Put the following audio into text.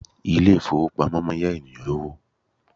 Ilé ìfowópamọ́ máa ń yá ènìyàn lówó.